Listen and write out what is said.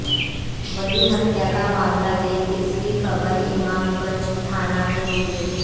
वहीं हत्या का मामला देख इसकी खबर इमामगंज थाना में दी गई